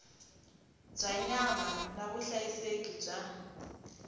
bya nyama na vuhlayiseki bya